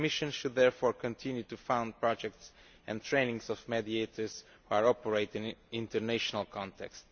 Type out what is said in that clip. The Commission should therefore continue to fund projects and the training of mediators who operate in an international context.